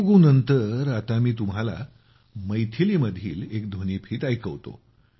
तेलुगु नंतर आता मी तुम्हाला मैथिली मधील एक ध्वनिफीत ऐकवतो